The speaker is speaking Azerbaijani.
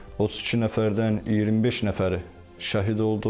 32 nəfərdən 25 nəfəri şəhid oldu.